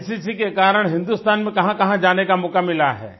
NCC के कारण हिंदुस्तान में कहाँकहाँ जाने का मौका मिला है